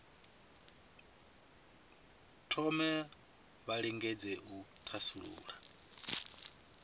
thome vha lingedze u thasulula